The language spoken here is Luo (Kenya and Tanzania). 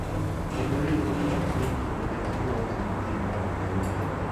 Kendo riwruoge mag din kinde ka kinde wacho ni tim ma ok owinjore .